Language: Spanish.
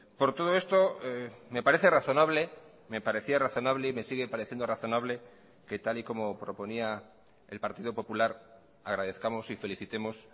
por todo esto me parece razonable me parecía razonable y me sigue pareciendo razonable que tal y como proponía el partido popular agradezcamos y felicitemos